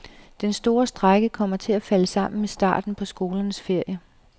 Den store strejke kommer til at falde sammen med starten på skolernes ferie.